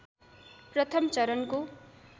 प्रथम चरणको